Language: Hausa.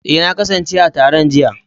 Eh, na kasance a taron jiya.